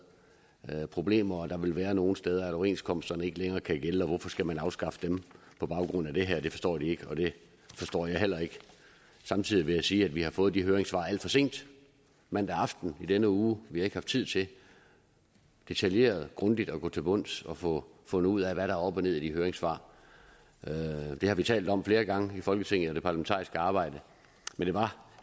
problemer og der vil være nogle steder hvor overenskomsterne ikke længere kan gælde og hvorfor skal man afskaffe dem på baggrund af det her det forstår de ikke og det forstår jeg heller ikke samtidig vil jeg sige at vi har fået de høringssvar alt for sent mandag aften i denne uge vi har ikke haft tid til detaljeret grundigt at gå til bunds og få fundet ud af hvad der er op og ned i de høringssvar det har vi talt om flere gange i folketinget og det parlamentariske arbejde